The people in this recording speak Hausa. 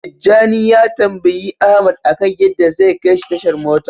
Tijjani ya tambayi Ahmad akan yadda zai kaishi tashar mota.